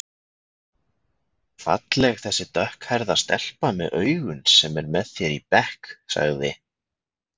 Falleg þessi dökkhærða stelpa með augun sem er með þér í bekk sagði